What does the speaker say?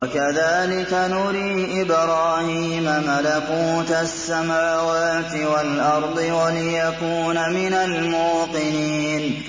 وَكَذَٰلِكَ نُرِي إِبْرَاهِيمَ مَلَكُوتَ السَّمَاوَاتِ وَالْأَرْضِ وَلِيَكُونَ مِنَ الْمُوقِنِينَ